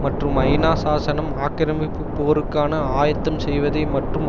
மற்றும் ஐநா சாசனம் ஆக்கிரமிப்பு போருக்கான ஆயத்தம் செய்வதை மற்றும்